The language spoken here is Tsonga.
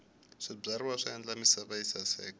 swibyariwa swi endla misava yi saseka